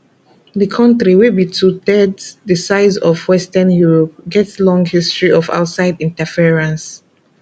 di kontri wey be twothirds di size of western europe get long history of outside interference